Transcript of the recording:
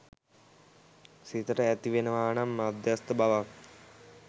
සිතට ඇතිවෙනවා නම් මධ්‍යස්ථ බවක්